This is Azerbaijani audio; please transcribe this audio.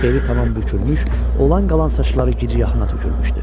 Beli tamam bükülmüş, olan-qalan saçları giciyaxına tökülmüşdü.